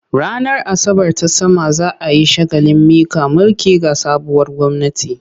Ranar Asabar ta sama za a yi shagalin miƙa mulki ga sabuwar gwamnati.